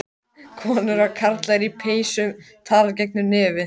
Eitt sinn ábúendur, um alla eilífð áburður.